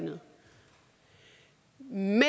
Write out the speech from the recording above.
noget